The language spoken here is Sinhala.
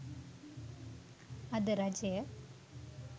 අද රජය